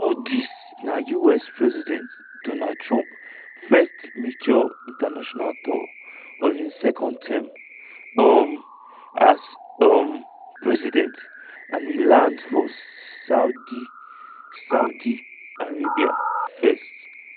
all dis na us president donald trump first major international tour of im second term um as um president and e land for saudia saudia arabia first.